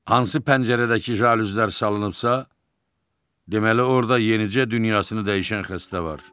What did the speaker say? Hansı pəncərədəki jaluzlər salınıbsa, deməli orda yenicə dünyasını dəyişən xəstə var.